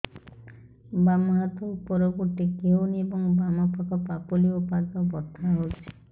ବାମ ହାତ ଉପରକୁ ଟେକି ହଉନି ଏବଂ ବାମ ପାଖ ପାପୁଲି ଓ ପାଦ ବଥା ହଉଚି